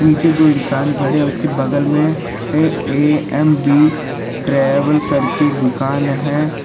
पीछे जो इंसान खड़े हैं उसकी बगल में ए_ए_एम_बी ट्रैवल करके दुकान है।